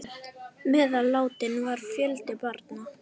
Meðal látinna var fjöldi barna.